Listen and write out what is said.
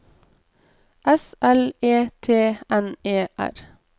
S L E T N E R